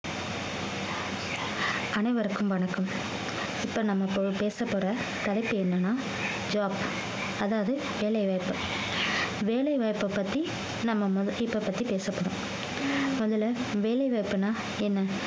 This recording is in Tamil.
அனைவருக்கும் வணக்கம் இப்ப நம்ம ப~ பேசப்போற தலைப்பு என்னன்னா job அதாவது வேலைவாய்ப்பு வேலை வாய்ப்பை பத்தி நம்ம ம~ இப்ப பத்தி பேசப்படும் முதல்ல வேலைவாய்ப்புன்னா என்ன